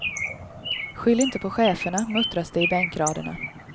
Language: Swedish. Skyll inte på cheferna muttras det i bänkraderna.